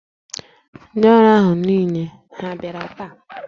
Ndị ọrụ ahụ niile ha bịara taa?